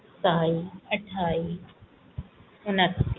ਸਤਾਈ ਅਠਾਈ ਉੱਨਤੀ